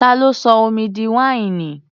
Ta ló sọ omi di wáìnì?